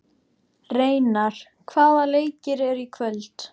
Reynar, hvaða leikir eru í kvöld?